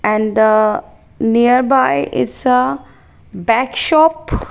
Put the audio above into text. and the nearby it's a bag shop.